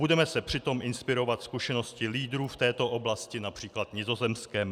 Budeme se přitom inspirovat zkušeností lídrů v této oblasti, například Nizozemskem."